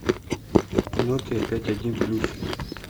нокиа пять один плюс